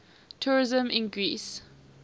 tourism in greece